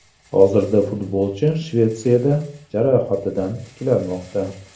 Hozirda futbolchi Shvetsiyada jarohatidan tiklanmoqda.